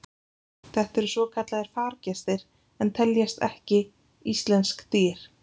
þetta eru svokallaðir fargestir en teljast ekki íslensk dýr